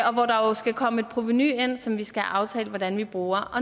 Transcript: og hvor der jo skal komme et provenu ind som vi skal have aftalt hvordan vi bruger